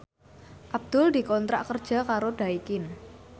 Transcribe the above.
Abdul dikontrak kerja karo Daikin